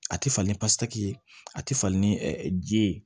A tɛ fa ni pataki ye a tɛ falen ni ji ye